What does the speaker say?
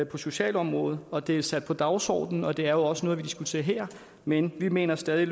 på socialområdet og det er sat på dagsordenen og det er jo også noget vi diskuterer her men vi mener stadig